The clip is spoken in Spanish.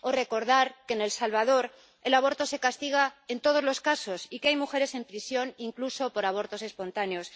O recordar que en El Salvador el aborto se castiga en todos los casos y que hay mujeres en prisión, incluso por abortos espontáneos.